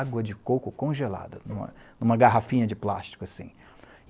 Água de coco congelada, em uma em uma garrafinha de plástico, assim.